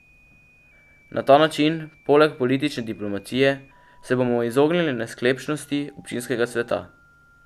Na ta način, poleg politične diplomacije, se bomo izognili nesklepčnosti Občinskega sveta.